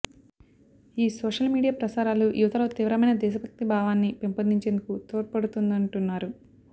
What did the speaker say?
ఈ social media ప్రసారాలు యువతలో తీవ్రమైన దేశభక్తి భావాన్ని పెంపొందించేందు కు తోడ్పడుతుందంటున్నారు